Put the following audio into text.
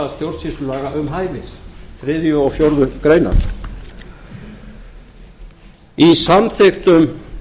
stjórnsýslulaga um hæfi þriðja og fjórðu grein í samþykktum